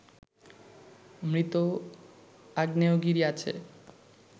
মৃত আগ্নেয়গিরি আছে